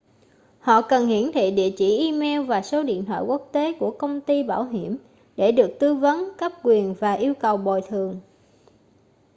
họ cần hiển thị địa chỉ email và số điện thoại quốc tế của công ty bảo hiểm để được tư vấn/cấp quyền và yêu cầu bồi thường